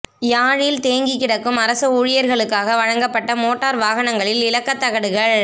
யாழில் தேங்கிகிடக்கும் அரச ஊழியர்களுக்காக வழங்கப்பட்ட மோட்டார் வாகனங்களின் இலக்கத் தகடுகள்